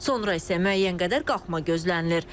Sonra isə müəyyən qədər qalxma gözlənilir.